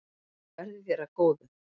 Verði þér að góðu.